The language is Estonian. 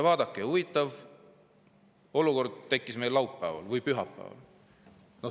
Vaadake, huvitav olukord tekkis laupäeval või pühapäeval.